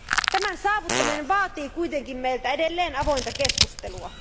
Tämän saavuttaminen vaatii kuitenkin meiltä edelleen avointa keskustelua.